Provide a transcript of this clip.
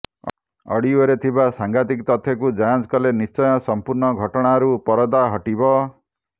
ଅଡିଓରେ ଥିବା ସାଙ୍ଘାତିକ ତଥ୍ୟକୁ ଯାଞ୍ଚ କଲେ ନିଶ୍ଚୟ ସମ୍ପୂର୍ଣ୍ଣ ଘଟଣାରୁ ପରଦା ହଟିବ